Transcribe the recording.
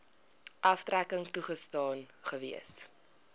aftrekking toegestaan gewees